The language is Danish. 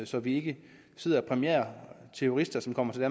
så vi ikke sidder og præmierer terrorister som kommer til